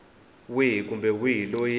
wihi kumbe wihi loyi a